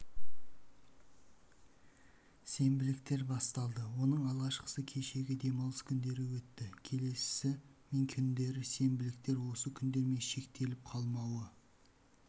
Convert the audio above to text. сенбіліктер басталды оның алғашқысы кешегі демалыс күндері өтті келесісі мен күндері сенбіліктер осы күндермен шектеліп қалмауы